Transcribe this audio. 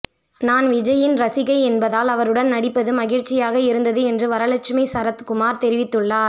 நான் விஜய்யின் ரசிகை என்பதால் அவருடன் நடிப்பது மகிழ்ச்சியாக இருந்தது என்று வரலட்சுமி சரத்குமார் தெரிவித்துள்ளார்